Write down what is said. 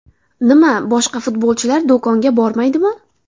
Nima boshqa futbolchilar do‘konga bormaydimi?